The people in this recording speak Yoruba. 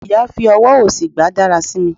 iya fi ọwọ osí gba darasimi